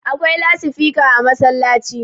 akwai lasifika a masallaci